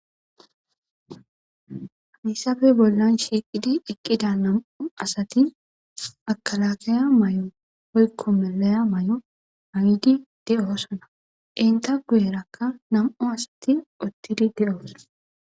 Haysape bolan shiqidi eqida nam'u asati mekelakeya mayo woyko malaya mayo ma'idi de'osona enta guyeraka nam'u asati utidi de'osona.